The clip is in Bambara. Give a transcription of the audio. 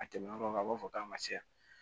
A tɛmɛnen kɔfɛ a b'a fɔ k'an ka ca